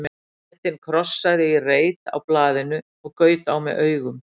Bretinn krossaði í reit á blaðinu og gaut á mig augum.